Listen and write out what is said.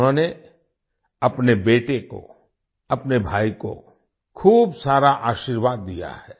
उन्होंने अपने बेटे को अपने भाई को खूब सारा आशीर्वाद दिया है